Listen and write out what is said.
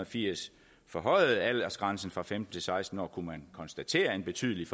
firs forhøjede aldersgrænsen fra femten til seksten år kunne man konstatere en betydelig